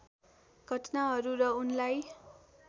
घटनाहरू र उनलाई